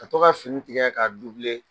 Ka to ka fini tigɛ k'a